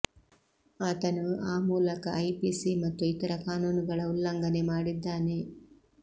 ಆತನು ಆ ಮೂಲಕ ಐಪಿಸಿ ಮತ್ತು ಇತರ ಕಾನೂನುಗಳ ಉಲ್ಲಂಘನೆ ಮಾಡಿದ್ದಾನೆ